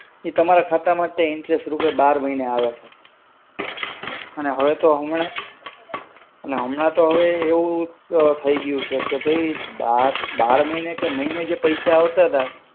ઈ તમારા ખાતા માં interest રૂપે બાર મહિને આવે છે. અને હવે તો હમણાં, ના હમણાં તો હવે એવું થઈ ગ્યું છે કે ભૈ, બાર મહિને કે મહિને જે પૈસા આવતાંતા,